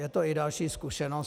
Je to i další zkušenost.